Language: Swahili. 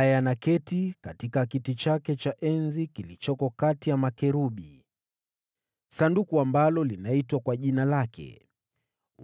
yeye anayeketi katika kiti cha enzi kati ya makerubi: Sanduku linaloitwa kwa Jina lake, kutoka huko.